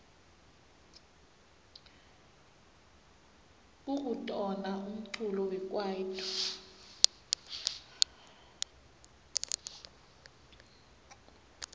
kukitona umculo wekwaito